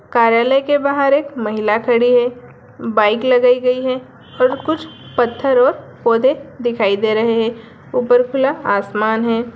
कार्यालय के बहार एक महिला खड़ी है बाइक लगाई गई है और कुछ पत्थर और पौधे दिखाई दे रहे है ऊपर खुला आसमान है।